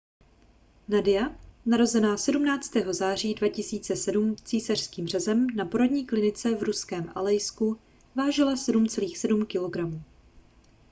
nadia narozená 17. září 2007 císařským řezem na porodní klinice v ruském alejsku vážila 7,7 kg